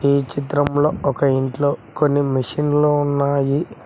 ఈ చిత్రం లో ఒక ఇంట్లో మెషిన్లు ఉన్నాయి.